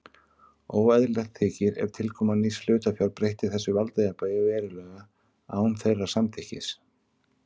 Óeðlilegt þykir ef tilkoma nýs hlutafjár breytti þessu valdajafnvægi verulega án þeirra samþykkis.